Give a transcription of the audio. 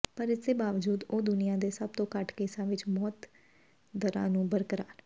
ਪਰ ਇਸਦੇ ਬਾਵਜੂਦ ਉਹ ਦੁਨੀਆ ਦੇ ਸਭ ਤੋਂ ਘੱਟ ਕੇਸਾਂ ਵਿਚ ਮੌਤ ਦਰਾਂ ਨੂੰ ਬਰਕਰਾਰ